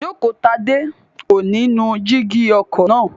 Jókotadé kò ní nu jígí ọkọ̀ náà